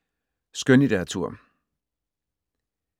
Skønlitteratur